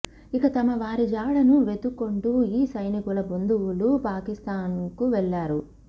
ఇక తమ వారి జాడను వెదుక్కుంటూ ఈ సైనికుల బంధువులు పాకిస్తాన్కు వెళ్లారు